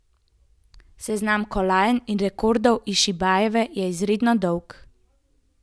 Seznam kolajn in rekordov Išinbajeve je izjemno dolg.